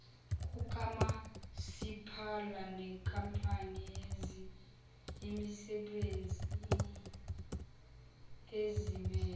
kukamasipala nenkampani yemisebenziezimele